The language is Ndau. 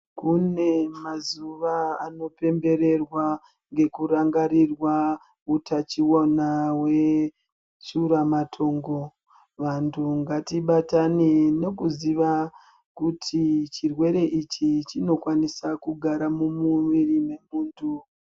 Kune mazuva anopembererwa, ngekurangarirwa hutachiona hweshuramatongo. Vantu ngatibatane nokuziva kuti chirwere ichi chinokwanisa kugara mumuwiri wemuntu.